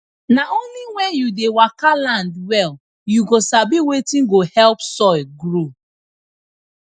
na only when you dey waka land well you go sabi wetin go help soil grow